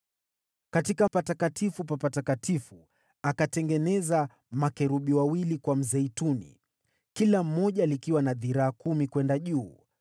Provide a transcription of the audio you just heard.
Katika Patakatifu pa Patakatifu akatengeneza makerubi wawili kwa mzeituni, kila moja likiwa na dhiraa kumi kwenda juu.